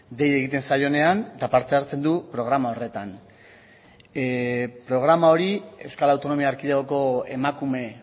dei egiten zaionean eta parte hartzen du programa horretan programa hori euskal autonomia erkidegoko emakume